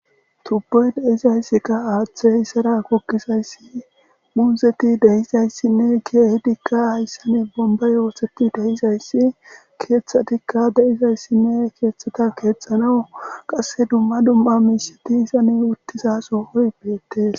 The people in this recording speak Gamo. tubbuy de'izayssikka aaththe isara kukkizayssi muuzeti deizayssinne keehidikka hayssane bomba yooseti deyizayssi keeththadikka deizayssinne keexxeta keexxanawu qasse dumma dumma miisheti isani uttizasooy beettees